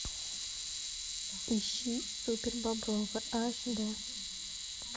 ищи супербобровы аш дэ